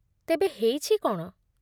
ତେବେ, ହେଇଛି କ'ଣ ?